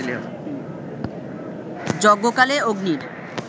যজ্ঞকালে অগ্নির